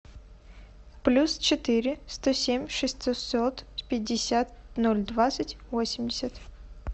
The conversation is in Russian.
плюс четыре сто семь шестьсот пятьдесят ноль двадцать восемьдесят